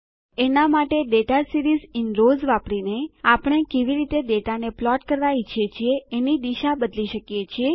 એના બદલે data series in rows વાપરીને આપણે કેવી રીતે ડેટાને પ્લોટ કરવા ઈચ્છીએ છીએ એની દિશા બદલી શકીએ છીએ